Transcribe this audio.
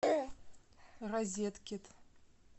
розеткит